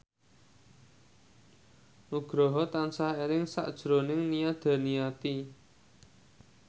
Nugroho tansah eling sakjroning Nia Daniati